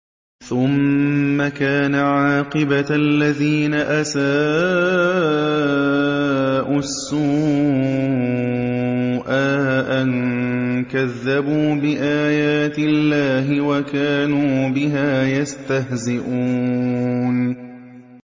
ثُمَّ كَانَ عَاقِبَةَ الَّذِينَ أَسَاءُوا السُّوأَىٰ أَن كَذَّبُوا بِآيَاتِ اللَّهِ وَكَانُوا بِهَا يَسْتَهْزِئُونَ